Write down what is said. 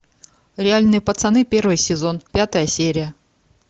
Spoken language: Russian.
реальные пацаны первый сезон пятая серия